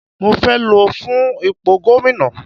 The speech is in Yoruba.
Mo fẹ́ lọ fún ipò gómìnà.